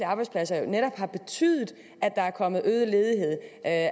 arbejdspladser netop har betydet at der er kommet øget ledighed at